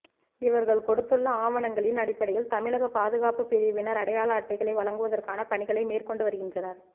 இவர்கள் கொடுத்துள்ள ஆவணங்களின் அடிப்படையில் தமிழக பாதுகாப்புப்பிரிவினர் அடையாள அட்டைகளை வழங்குவதற்கான பணிகளை மேற்கொண்டு வருகின்றனர்